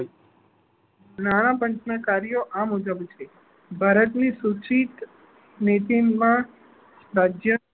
નાણાપંચ ના કાર્યો આ મુજબ છે ભારત ની સૂચીક રાજ્ય